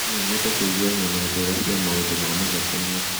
No nyende kũigua ng'ano njega cia maũndũ mamathekania